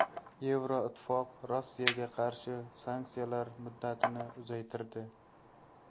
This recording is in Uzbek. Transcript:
Yevroittifoq Rossiyaga qarshi sanksiyalar muddatini uzaytirdi.